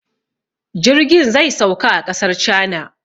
Jirgin zai sauka a ƙasar cana